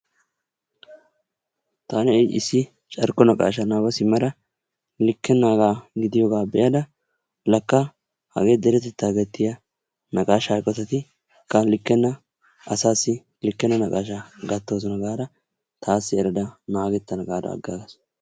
Taani ha'i issi carkko naqashshaa nababa simmada likkenagaa gidiyoogaa be'ada lakka hagee deretettaa naqashshaa gattiyaa eqotati likkena asaasi likkenna naqashshaa gaattoosona. gaada taasi erada naagettana gaada agaagas.